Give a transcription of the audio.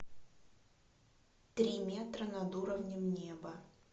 три метра над уровнем неба